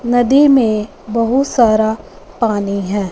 नदी में बहुत सारा पानी हैं।